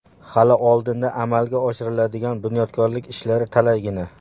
Hali oldinda amalga oshiriladigan bunyodkorlik ishlari talaygina.